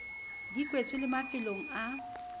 di kwetswe le mafelong a